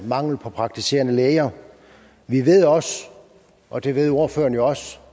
mangel på praktiserende læger vi ved også og det ved ordføreren også